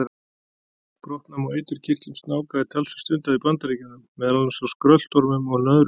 Brottnám á eiturkirtlum snáka er talsvert stundað í Bandaríkjunum, meðal annars á skröltormum og nöðrum.